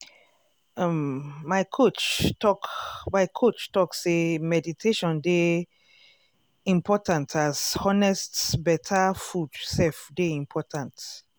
um my coach talk my coach talk say meditation dey…. important as honest better food sef dey important.